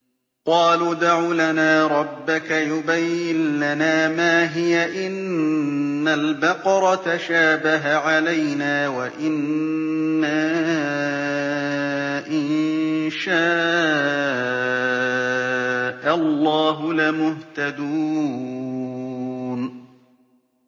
قَالُوا ادْعُ لَنَا رَبَّكَ يُبَيِّن لَّنَا مَا هِيَ إِنَّ الْبَقَرَ تَشَابَهَ عَلَيْنَا وَإِنَّا إِن شَاءَ اللَّهُ لَمُهْتَدُونَ